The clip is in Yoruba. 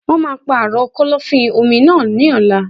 Wọn máà ń pàrọ̀ kọ́lọ́fín-omi náà ní ọ̀la.